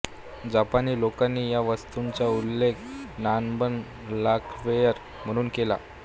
जपानी लोकांनी या वस्तूंचा उल्लेख नानबन लाखवेअर म्हणून केला